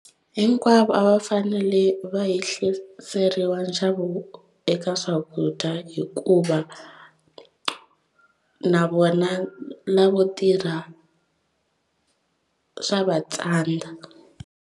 Hinkwavo a va fanele va yehliseriwa nxavo eka swakudya hikuva na vona lavo tirha swa va tsandza.